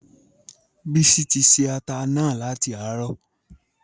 Bísí tí ṣẹ̀ àtà náà latí àrọ.